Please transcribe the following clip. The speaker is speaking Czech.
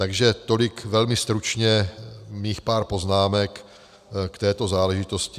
Takže tolik velmi stručně mých pár poznámek k této záležitosti.